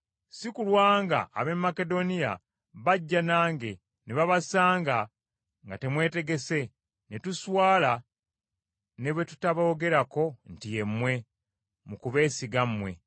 Si kulwa ng’ab’e Makedoniya bajja nange ne babasanga nga temwetegese, ne tuswala, ne bwe tutaboogerako nti ye mmwe, mu kubeesiga mmwe.